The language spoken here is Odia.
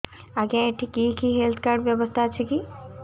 ଆଜ୍ଞା ଏଠି କି କି ହେଲ୍ଥ କାର୍ଡ ବ୍ୟବସ୍ଥା ଅଛି